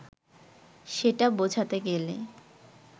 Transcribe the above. সেটা বোঝাতে গেলে